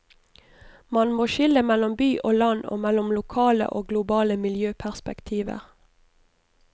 Man må skille mellom by og land og mellom lokale og globale miljøperspektiver.